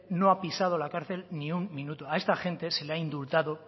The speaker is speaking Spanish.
no ha pisado la cárcel ni un minuto a esta gente se la indultado